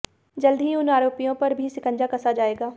जल्द ही उन आरोपियों पर भी शिकंजा कसा जाएगा